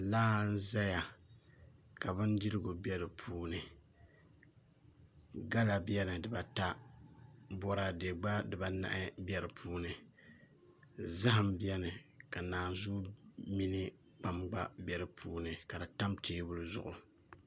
Laa n ʒɛya ka bindirigu bɛ di puuni gala bɛni dibata boraadɛ gba dibanahi bɛ di puuni zaham bɛni ka naanzuu mini kpam gba bɛ di puuni ka di tam teebuli zuɣu